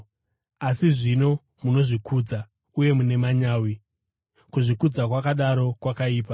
Asi zvino munozvikudza uye mune manyawi. Kuzvikudza kwakadaro kwakaipa.